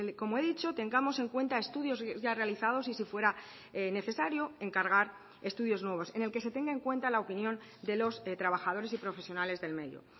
como he dicho tengamos en cuenta estudios ya realizados y si fuera necesario encargar estudios nuevos en el que se tenga en cuenta la opinión de los trabajadores y profesionales del medio